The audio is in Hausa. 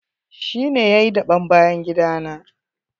Shi ne yayi daɓen bayan gida na.